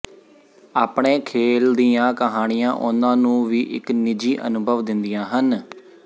ਆਪਣੇ ਖੇਲ ਦੀਆਂ ਕਹਾਣੀਆਂ ਉਹਨਾਂ ਨੂੰ ਵੀ ਇਕ ਨਿੱਜੀ ਅਨੁਭਵ ਦਿੰਦੀਆਂ ਹਨ